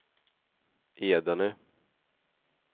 Edane